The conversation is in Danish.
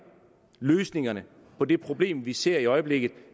løsningerne på det problem vi ser i øjeblikket